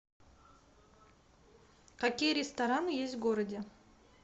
какие рестораны есть в городе